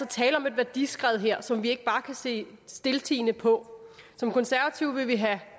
tale om et værdiskred som vi ikke bare kan se stiltiende på som konservative vil vi have